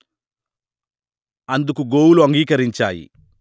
అందుకు గోవులు అంగీకరించాయి